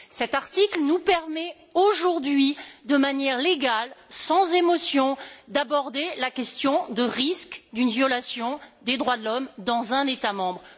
Cet article nous permet aujourd'hui, de manière légale, sans émotion, d'aborder la question du risque d'une violation des droits de l'homme dans un État membre.